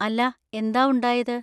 അല്ലാ, എന്താ ഉണ്ടായത്?